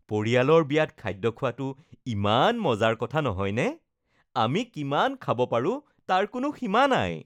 পৰিয়ালৰ বিয়াত খাদ্য খোৱাটো ইমান মজাৰ কথা নহয়নে? আমি কিমান খাব পাৰো তাৰ কোনো সীমা নাই।